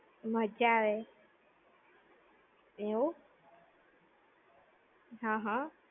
મજા આવે. એવું? હમ હમ.